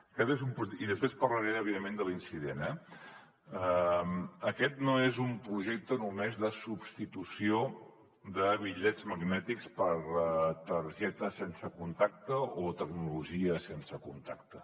i després parlaré evidentment de l’incident eh aquest no és un projecte només de substitució de bitllets magnètics per targetes sense contacte o tecnologia sense contacte